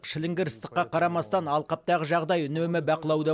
шіліңгір ыстыққа қарамастан алқаптағы жағдай үнемі бақылауда